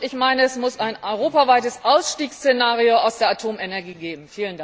Und ich meine, es muss ein europaweites Ausstiegsszenario aus der Atomenergie geben.